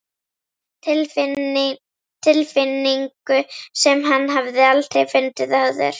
Tilfinningu sem hann hafði aldrei fundið áður.